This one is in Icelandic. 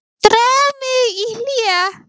Dró mig í hlé.